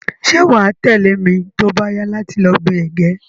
Se wa tẹ̀lẹ́ mi to ba yá láti lo gbin ẹ̀gẹ́